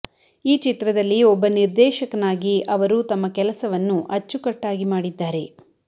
ಈ ಚಿತ್ರದಲ್ಲಿ ಒಬ್ಬ ನಿರ್ದೇಶಕನಾಗಿ ಅವರು ತಮ್ಮ ಕೆಲಸವನ್ನು ಅಚ್ಚುಕಟ್ಟಾಗಿ ಮಾಡಿದ್ದಾರೆ